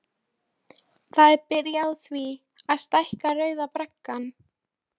Það er byrjað á því að stækka Rauða braggann.